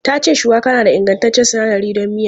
Ta ce shuwaka na da ingantaccen sinadari don miya.